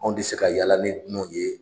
Anw tɛ se ka yaala ni dunanw ye